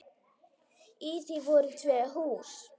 Í því voru tvö hús.